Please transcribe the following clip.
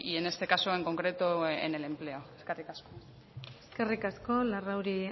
en este caso en concreto en el empleo eskerrik asko eskerrik asko larrauri